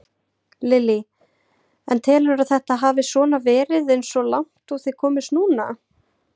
Lillý: En telurðu að þetta hafi svona verið eins og langt og þið komist núna?